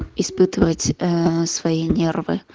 испытывать ээ свои нервы